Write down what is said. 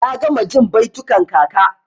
Na gama jin baitukan kaka.